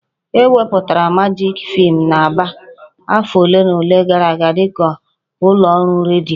E kewapụtara Majik fm n'Aba afọ ole na ole gara aga dịka ụlọ ọrụ redio